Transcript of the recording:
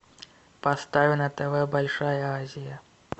поставь на тв большая азия